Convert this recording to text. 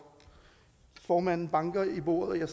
formanden banker i bordet og jeg